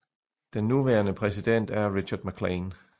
Den nuværende præsident er Richard MacLean